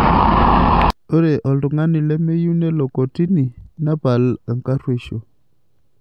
Ore oltungani lemeyieu nelo kotini nepal enkaruoisho.